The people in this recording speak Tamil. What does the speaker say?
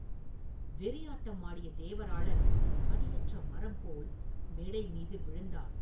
வெறியாட்டம் ஆடிய தேவராளன் அடியற்ற மரம் போல் மேடை மீது விழுந்தான்.